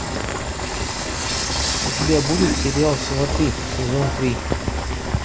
у тебя будет сериал сваты сезон три